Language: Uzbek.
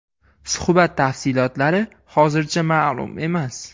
Suhbat tafsilotlari hozircha ma’lum emas.